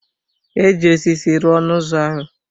Eji osisi rụọ ọnụ ụzọ ahụ.